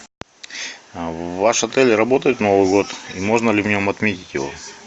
ваш отель работает в новый год можно ли в нем отметить его